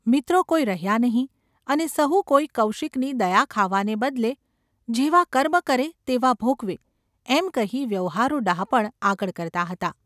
મિત્રો કોઈ રહ્યા નહિ. અને સહુ કોઈ કૌશિકની દયા ખાવાને બદલે ‘જેવાં કર્મ કરે તેવાં ભોગવે’ એમ કહી વ્યવહારુ ડહાપણ આગળ કરતાં હતાં.